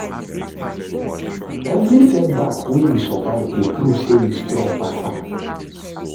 Evri setback wey yu survive dey prove say yu strong pass am